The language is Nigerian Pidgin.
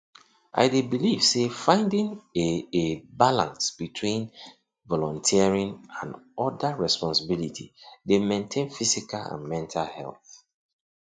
i dey believe say finding a a balance between volunteering and oda responsibilities dey maintain physical and mental health